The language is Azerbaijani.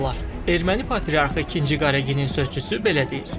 Erməni patriarxı ikinci Qareginin sözçüsü belə deyir.